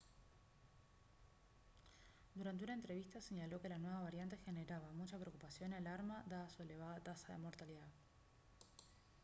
durante una entrevista señaló que la nueva variante generaba «mucha preocupación y alarma dada su elevada tasa de mortalidad»